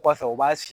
Kɔfɛ u b'a